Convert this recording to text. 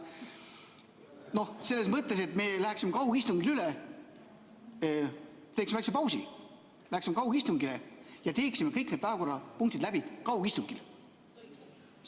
Noh, selles mõttes, et me teeksime väikese pausi, läheksime kaugistungile üle ja teeksime kõik need päevakorrapunktid läbi kaugistungil.